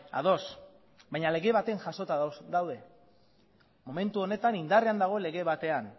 ados baina lege baten jasota daude momentu honetan indarrean dagoen lege batean